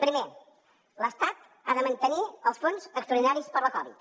primer l’estat ha de mantenir els fons extraordinaris per la covid